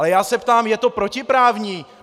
Ale já se ptám - je to protiprávní?